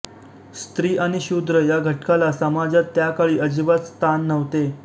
स्त्री आणि शूद्र या घटकाला समाजात त्याकाळी अजिबात स्थान नव्हते